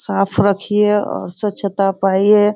साफ रखिये और स्वछता पाइये।